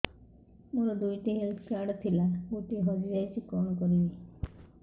ମୋର ଦୁଇଟି health card ଥିଲା ଗୋଟିଏ ହଜି ଯାଇଛି କଣ କରିବି